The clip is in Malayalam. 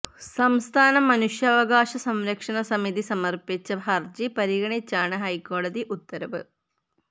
സംസ്ഥാന മനുഷ്യാവകാശ സംരക്ഷണ സമിതി സമർപ്പിച്ച ഹർജി പരിഗണിച്ചാണ് ഹൈക്കോടതി ഉത്തരവ്